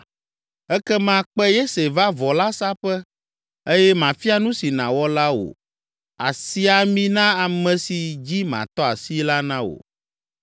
Ekema kpe Yese va vɔ la saƒe eye mafia nu si nàwɔ la wò. Àsi ami na ame si dzi matɔ asi la na wò.”